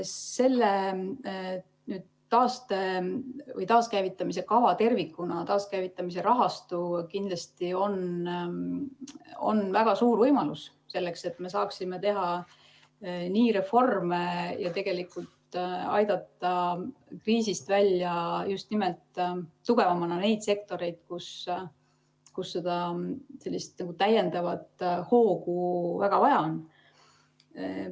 See taaskäivitamise kava tervikuna, taaskäivitamise rahastu, on kindlasti väga suur võimalus selleks, et me saaksime teha reforme ja aidata kriisist just nimelt tugevamana välja neid sektoreid, kus sellist täiendavat hoogu väga vaja on.